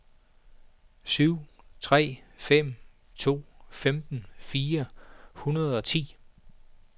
syv tre fem to femten fire hundrede og ti